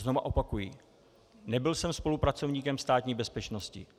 Znovu opakuji, nebyl jsem spolupracovníkem Státní bezpečnosti.